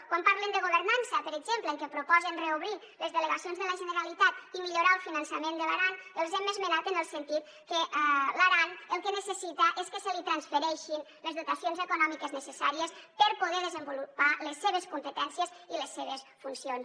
quan parlen de governança per exemple que proposen reobrir les delegacions de la generalitat i millorar el finançament de l’aran els hem esmenat en el sentit que l’aran el que necessita és que se li transfereixin les dotacions econòmiques necessàries per poder desenvolupar les seves competències i les seves funcions